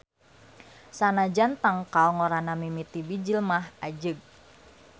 Sanajan tangkal ngorana mimiti bijil mah ajeg.